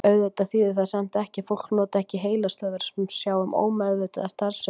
Auðvitað þýðir það samt ekki að fólk noti ekki heilastöðvar sem sjá um ómeðvitaða starfsemi.